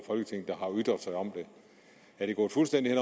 af ytret sig om det er det gået fuldstændig